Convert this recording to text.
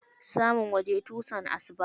Samun waje tusan asuba.